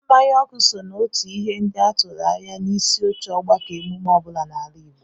Mmanya ọkụ so n'otu ihe ndị a tụrụ anya n'isioche ọgbakọ emume ọ bụla n'ala Igbo